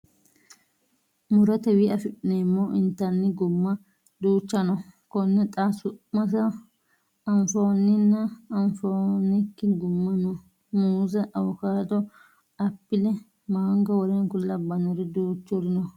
Murotewii afi'neemmo intanni gumma duucha no. Konne xa su'mansa anfoonninna anfoonniki gumma no. Muuze, avocado, apple, mango w.k.l duuchuri no.